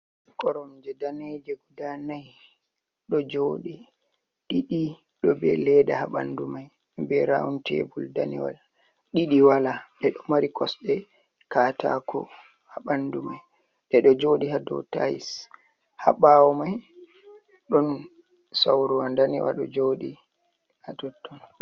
Koromjee daneje guda nayi ɗo jooɗi, ɗiɗi be leda ha ɓandu mai be rawun tebul daniwal. Ɗiiɗi wala ɗe ɗo maari kosɗee kataakowa ha ɓandu mai. Ɗeeɗo jooɗi ha dou tayis ha ɓawo mai ɗon sauruwa daniwal ɗo jooɗi ha totton.